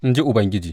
In ji Ubangiji.